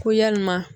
Ko yalima